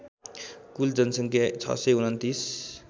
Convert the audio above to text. कुल जनसङ्ख्या ६२९